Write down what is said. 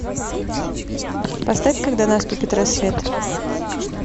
поставь когда наступит рассвет